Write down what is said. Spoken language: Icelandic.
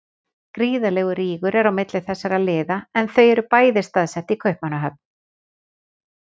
Gríðarlegur rígur er á milli þessara liða en þau eru bæði staðsett í Kaupmannahöfn.